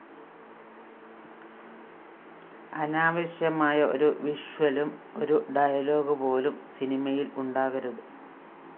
അനാവശ്യമായ ഒരു വിഷ്വലും ഒരു ഡയലോഗുപോലും സിനിമയില്‍ ഉണ്ടാകരുത്